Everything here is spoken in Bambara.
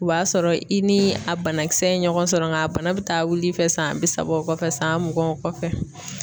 O b'a sɔrɔ i ni a banakisɛ ye ɲɔgɔn sɔrɔ nka a bana bɛ taa wili fɛ san bi saba o kɔfɛ san mugan kɔfɛ.